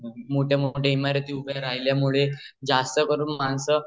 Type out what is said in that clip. मोठ्या मोठ्या इमारती उभ्या राहिल्यामुळे जास्त करून मानस